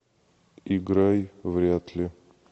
играй вряд ли